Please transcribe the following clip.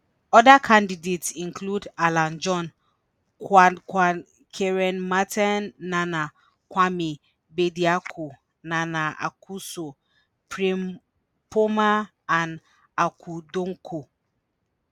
oda candidates include alan john kwadwo kyerema ten nana kwame bediako nana akosua frimpomaa and akua donkor.